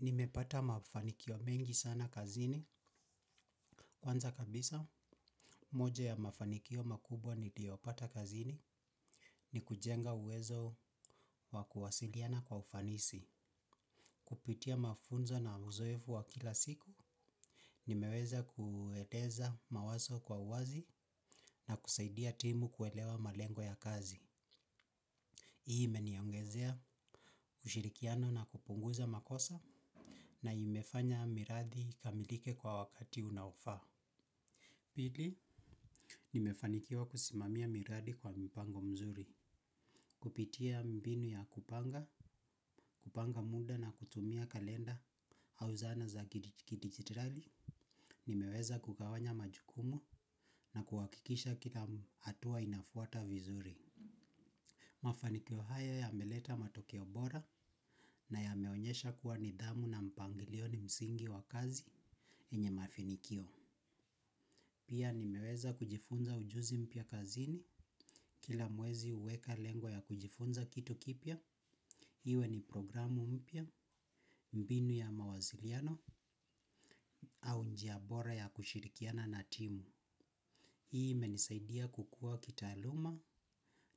Nimepata mafanikio mengi sana kazini. Kwanza kabisa, moja ya mafanikio makubwa niliyopata kazini ni kujenga uwezo wa kuwasiliana kwa ufanisi. Kupitia mafunzo na uzoefu wa kila siku. Nimeweza kueleza mawazo kwa uwazi na kusaidia timu kuelewa malengo ya kazi. Hii imeniongezea kushirikiano na kupunguza makosa na imefanya mirathi ikamilike kwa wakati unaofaa. Pili, nimefanikiwa kusimamia miradi kwa mpango mzuri. Kupitia mbinu ya kupanga, kupanga muda na kutumia kalenda au zana za kidigitali. Nimeweza kugawanya majukumu na kuhakikisha kila hatua inafuata vizuri. Mafanikio hayo yameleta matokeo bora na yameonyesha kuwa nidhamu na mpangilio ni msingi wa kazi yenye mafanikio. Pia nimeweza kujifunza ujuzi mpya kazini kila mwezi huweka lengo ya kujifunza kitu kipya. Iwe ni programu mpya, mbinu ya mawasiliano au njia bora ya kushirikiana na timu. Hii imenisaidia kukua kitaaluma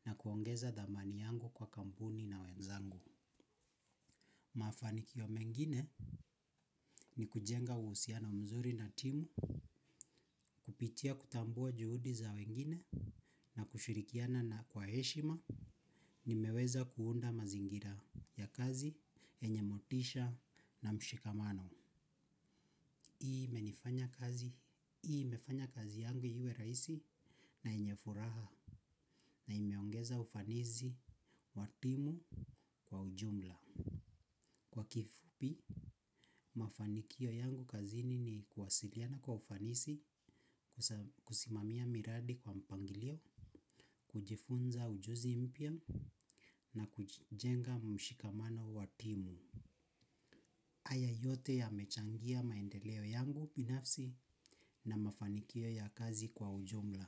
na kuongeza dhamani yangu kwa kampuni na wenzangu. Mafanikio mengine ni kujenga uhusiano mzuri na timu, kupitia kutambua juhudi za wengine na kushirikiana na kwa heshima. Nimeweza kuunda mazingira ya kazi yenye motisha na mshikamano. Hii imefanya kazi yangu iwe rahisi na yenye furaha. Na imeongeza ufanisi wa timu kwa ujumla. Kwa kifupi, mafanikio yangu kazini ni kuwasiliana kwa ufanisi kusimamia miradi kwa mpangilio kujifunza ujuzi mpya na kujenga mshikamano wa timu haya yote yamechangia maendeleo yangu binafsi na mafanikio ya kazi kwa ujumla.